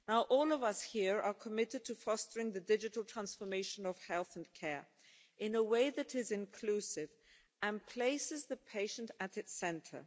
All of us here are committed to fostering the digital transformation of health and care in a way that is inclusive and places the patient at its centre.